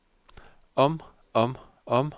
om om om